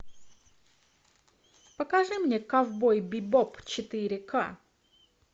покажи мне ковбой бибоп четыре ка